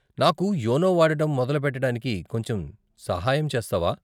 నాకు యోనో వాడటం మొదలుపెట్టడానికి కొంచెం సహాయం చేస్తావా?